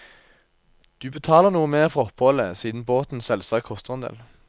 Du betaler noe mer for oppholdet, siden båten selvsagt koster en del.